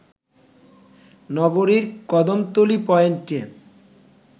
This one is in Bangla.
নগরীর কদমতলী পয়েন্টে